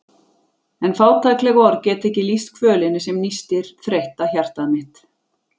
En fátækleg orð geta ekki lýst kvölinni sem nístir þreytta hjartað mitt.